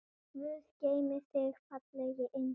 Guð geymi þig, fallegi engill.